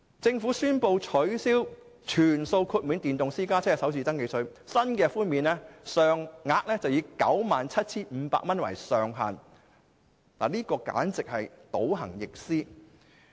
政府宣布取消全數豁免電動私家車的首次登記稅，新的寬免上限為 97,500 元，這簡直是倒行逆施。